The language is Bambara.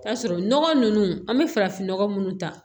K'a sɔrɔ nɔgɔ ninnu an bɛ farafinnɔgɔ minnu ta